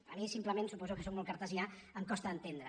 a mi simplement suposo que sóc molt cartesià em costa d’entendre